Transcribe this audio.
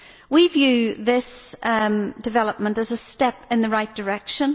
We view this development as a step in the right direction.